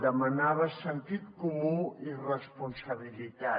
demanava sentit comú i responsabilitat